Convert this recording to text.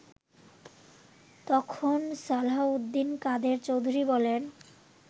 তখন সালাহউদ্দিন কাদের চৌধুরী বলেন